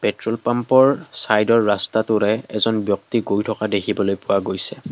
Petrol পাম্পৰ চাইডৰ ৰাস্তাটোৰে এজন ব্যক্তি গৈ থকা দেখিবলৈ পোৱা গৈছে।